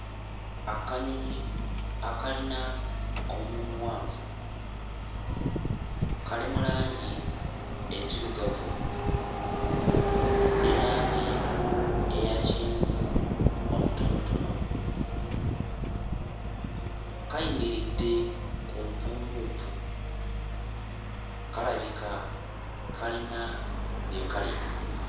Akanyonyi akalina omumwa omuwanvu kali mu langi enzirugavu ne langi eya kyenvu omutonotono kayimiridde ku mpummumpu kalabika kalina bye kalya.